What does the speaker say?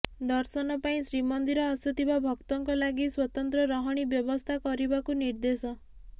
ଦର୍ଶନ ପାଇଁ ଶ୍ରୀମନ୍ଦିର ଆସୁଥିବା ଭକ୍ତଙ୍କ ଲାଗି ସ୍ୱତନ୍ତ୍ର ରହଣୀ ବ୍ୟବସ୍ଥା କରିବାକୁ ନିର୍ଦ୍ଦେଶ